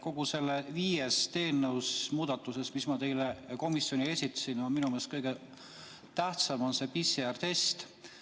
Kõigist nendest viiest eelnõu muudatusest, mis ma teile komisjoni esitasin, on minu meelest kõige tähtsam see PCR-testi puudutav.